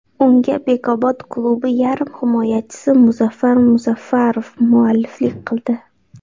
Unga Bekobod klubi yarim himoyachisi Muzaffar Muzaffarov mualliflik qildi.